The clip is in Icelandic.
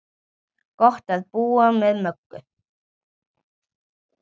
Gott að búa með Möggu.